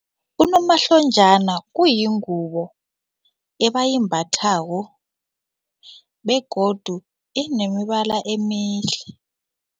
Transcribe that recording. Unomahlonjana uyingubo ebayimbathako begodu inemibala emihle.